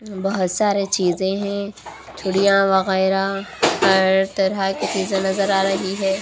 बहोत सारे चीजें हैं। चूड़ियां वगैराह हर तरह चीजें नजर आ रही है।